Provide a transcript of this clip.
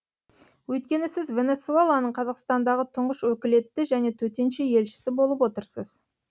өйткені сіз венесуэланың қазақстандағы тұңғыш өкілетті және төтенше елшісі болып отырсыз